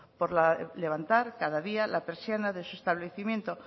por levantar cada día la persiana de su establecimiento